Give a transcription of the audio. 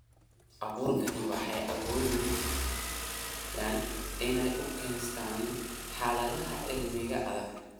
Abuurkani waxay awoodaan inay u adkeystaan ??xaaladaha cimilada adag.